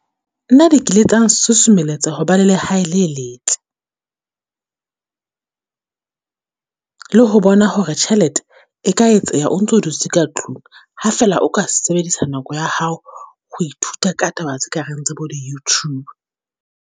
Nna di kile tsa nsusumeletsa ho ba le lehae le letle, le ho bona hore tjhelete e ka etseha o ntso dutse ka tlung. Ha fela o ka sebedisa nako ya hao, ho ithuta ka taba tse ka reng tsa bo di-YouTube.